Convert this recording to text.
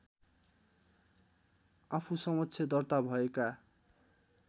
आफूसमक्ष दर्ता भएका